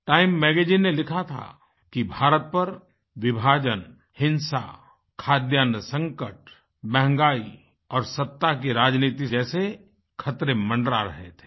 time magazine ने लिखा था कि भारत पर विभाजन हिंसा खाद्यान्न संकट महँगाई और सत्ता की राजनीति से जैसे खतरे मंडरा रहे थे